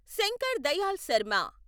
Shankar Dayal Sharma